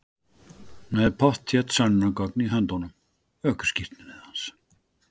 Með pottþétt sönnunargögn í höndunum. ökuskírteinið hans.